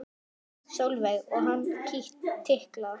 Sólveig: Og hann tikkar?